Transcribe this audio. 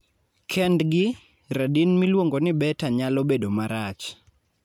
kendgi, radin miluongo ni beta nyalo bedo marach